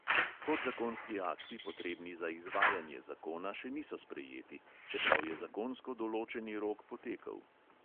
Podzakonski akti, potrebni za izvajanje zakona, še niso sprejeti, čeprav je zakonsko določeni rok potekel.